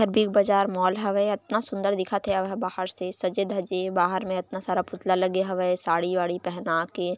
big Bazaar mall हावय अतना सूंदर दिखत हे औ एहर बाहर से सजे धजे बाहर में अतना पुतला लगे हवय साड़ी वाड़ी पहना के--